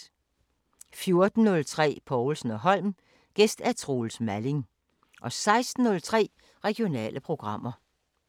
14:03: Povlsen & Holm: Gæst Troels Malling 16:03: Regionale programmer